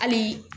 Hali